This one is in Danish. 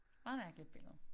Meget mærkeligt billede